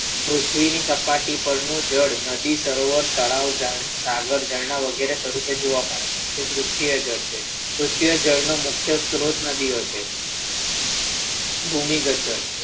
પૃથ્વીની સપાટી ઉપરનું જળ નદી પરનું ઝાડ નદી સરોવર તળાવ પરનું ઝાડ વગેરે સ્વરૂપે જોવા મળે છે એ સૃષ્ટિએ જળ છે સૃષ્ટિએ જળનો મુખ્ય સ્ત્રોત નદી છે ભૂમિગત જળ